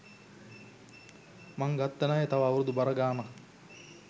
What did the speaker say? මං ගත්ත ණය තව අවුරුදු බර ගාණක්